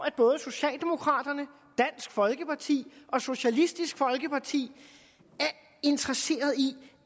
at både socialdemokraterne dansk folkeparti og socialistisk folkeparti er interesseret i